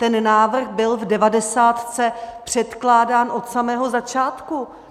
Ten návrh byl v devadesátce předkládán od samého začátku.